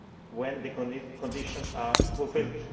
when the conditions are fulfilled.